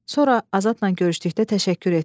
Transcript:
Sonra Azadla görüşdükdə təşəkkür etdim.